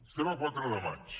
estem a quatre de maig